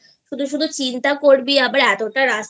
শুধু শুধু চিন্তা করবি আবার এতটা রাস্তা